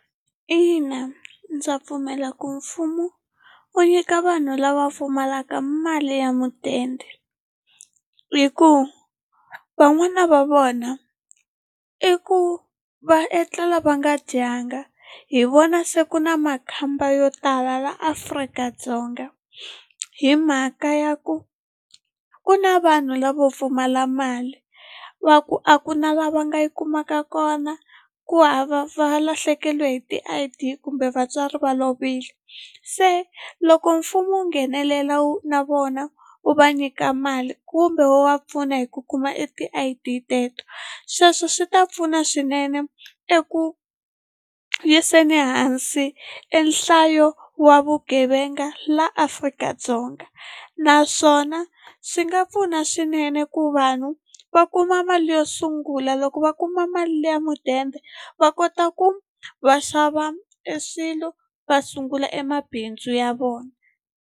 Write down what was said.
In, a ndza pfumela ku mfumo wu nyika vanhu lava pfumalaka mali ya mudende hi ku van'wana va vona i ku va etlela va nga dyanga hi vona se ku na makhamba yo tala la Afrika-Dzonga hi mhaka ya ku ku na vanhu lavo pfumala mali va ku a ku na lava nga yi kumaka kona ku hava va lahlekele hi ti-I_D kumbe vatswari va lovile se loko mfumo wu nghenelela na vona wu va nyika mali kumbe wu va pfuna hi ku kuma i ti-I_D teto sweswo swi ta pfuna swinene eku yiseni hansi enhlayo wa vugevenga laha Afrika-Dzonga naswona swi nga pfuna swinene ku vanhu va kuma mali yo sungula loko va kuma mali ya mudende va kota ku va xava eswilo va sungula emabindzu ya vona.